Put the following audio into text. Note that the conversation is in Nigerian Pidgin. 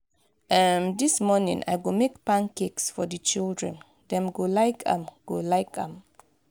um dis morning i go make pancakes for di children; dem go like am. go like am.